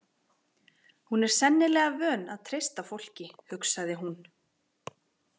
Hún er sennilega vön að treysta fólki, hugsaði hún.